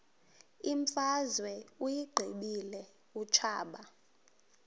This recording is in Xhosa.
imfazwe uyiqibile utshaba